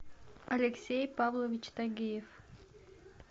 алексей павлович тагиев